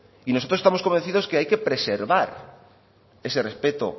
y nosotros estamos convencidos que hay que preservar ese respeto